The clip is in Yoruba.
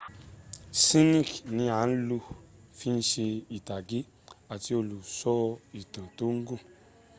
sphinx ni a lò fi se ìtàgé àti olùsọ ìtàn tó gùn